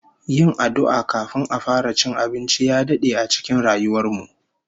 Yin addu'a kafin a fara cin abinci ya dade a cikin rayuwar mu